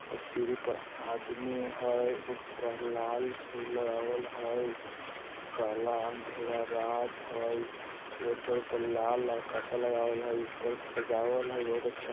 इस सीढी पर आदमी हइ ऊपर लाल फूल लगवाल हइ काला अंधेरा रात हइ एकठो उपर लाल कपडा लगवाल हइ उपर सजावल हइ बहुत अच्छा--